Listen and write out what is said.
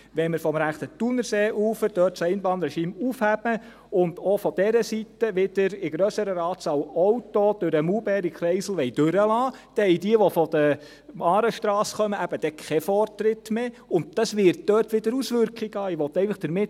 Wenn wir das Einbahnregime vom rechten Thunerseeufer aufheben und auch von dieser Seite wieder Autos in grösserer Anzahl durch den Maulbeerkreisel durchlassen wollen, dann haben jene, die von der Aarestrasse her kommen, eben keinen Vortritt mehr, und das wird dort wieder Auswirkungen haben.